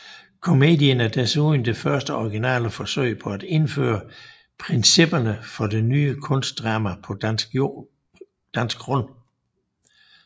Komedien er desuden det første originale forsøg på at indføre principperne for det ny kunstdrama på dansk grund